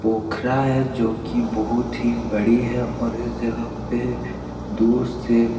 पोखरा है जो की बहुत ही बड़ी है और इस जगह पे दूर से --